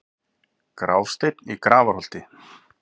Grásteinn í Grafarholti